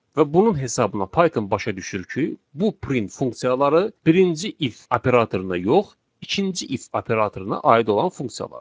Və bunun hesabına Python başa düşür ki, bu print funksiyaları birinci if operatoruna yox, ikinci if operatoruna aid olan funksiyalardır.